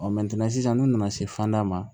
sisan n'u nana se fanda ma